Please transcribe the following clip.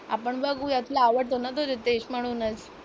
आपण बघूया, तुला आवडतो ना तो रितेश म्हणूनच.